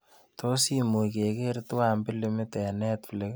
Tos' imuch keger twan pilimit eng netflix